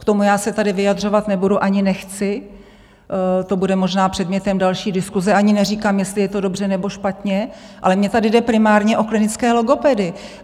K tomu já se tady vyjadřovat nebudu ani nechci, to bude možná předmětem další diskuse, ani neříkám, jestli je to dobře, nebo špatně, ale mně tady jde primárně o klinické logopedy.